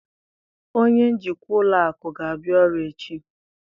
Onye njikwa ụlọ akụ ga-abịa ọrụ echi